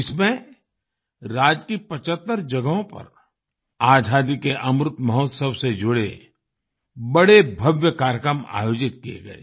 इसमें राज्य की 75 जगहों पर आज़ादी के अमृत महोत्सव से जुड़े बड़े भव्य कार्यक्रम आयोजित किये गए